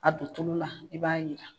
A don tulu la i b'a yiran.